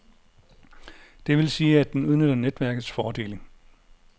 Det vil sige, at den udnytter netværkets fordele.